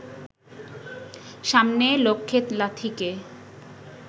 সামনে লক্ষ্যে লাথিকে